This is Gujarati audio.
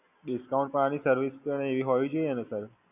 discount પણ આની Service પણ એવી હોવી જોઈએ ને Sir.